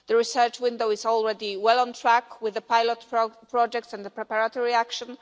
The research window is already well on track with the pilot projects and the preparatory action.